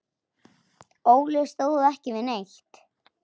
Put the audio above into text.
Óli stóð ekki við neitt.